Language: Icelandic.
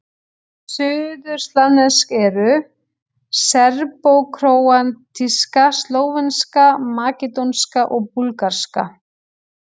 Suðurslavnesk eru: serbókróatíska, slóvenska, makedónska og búlgarska.